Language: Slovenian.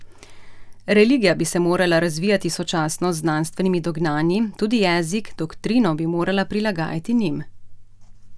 Religija bi se morala razvijati sočasno z znanstvenimi dognanji, tudi jezik, doktrino bi morala prilagajati njim.